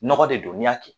Nɔgɔ de don n'i y'a kɛ